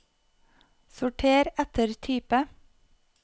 sorter etter type